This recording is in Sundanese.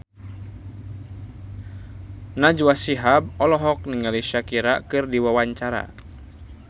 Najwa Shihab olohok ningali Shakira keur diwawancara